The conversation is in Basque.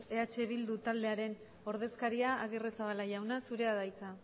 eh bildu taldearen ordezkaria agirrezabala jauna zurea da hitza